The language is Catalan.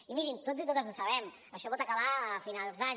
i mirin tots i totes ho sabem això pot acabar a finals d’any